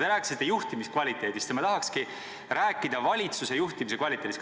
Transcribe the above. Te rääkisite juhtimiskvaliteedist, ja ma tahakski rääkida valitsuse juhtimise kvaliteedist.